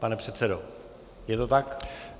Pan předsedo, je to tak?